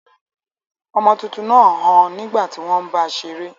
Ọmọ tuntun náà ń han nígbà tí wọ́n ń bá a seré.